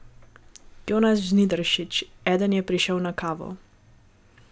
Jonas Žnidaršič: 'Eden je prišel na kavo.